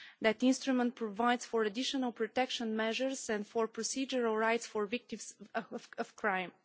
That instrument provides for additional protection measures and for procedural rights for victims of crime.